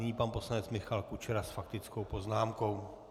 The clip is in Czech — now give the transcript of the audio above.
Nyní pan poslanec Michal Kučera s faktickou poznámkou.